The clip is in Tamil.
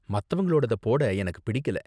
மத்தவங்களோடத போட எனக்கு பிடிக்கல.